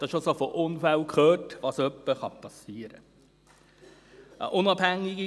Man hat schon von Unfällen gehört und davon, was etwa passieren kann.